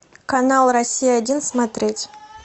канал россия один смотреть